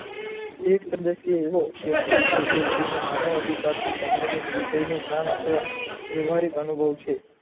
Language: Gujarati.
એક સદસ્ય એવો વ્યક્તિ કે જે જેને માનવ અધિકાર થી સંબંધિત વિષય નો જ્ઞાન અથવા વ્વાવ્હારિક અનુભવ છે